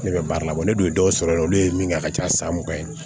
Ne bɛ baara labɔ ne dun ye dɔw sɔrɔ yen nɔ olu ye min kɛ a ka ca san mugan ye